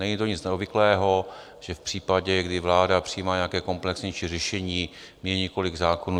Není to nic neobvyklého, že v případě, kdy vláda přijímá nějaké komplexnější řešení, mění několik zákonů.